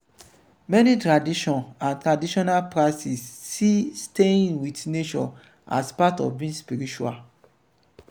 many tradition and traditional practice see staying with nature as part of being spiritual